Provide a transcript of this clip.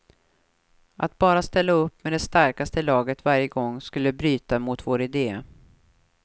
Att bara ställa upp med det starkaste laget varje gång skulle bryta mot vår ide.